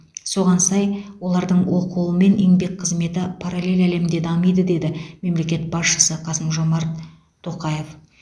соған сай олардың оқуы мен еңбек қызметі параллель әлемде дамиды деді мемлекет басшысы қасым жомарт тоқаев